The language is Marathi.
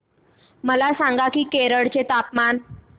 मला सांगा की केरळ चे तापमान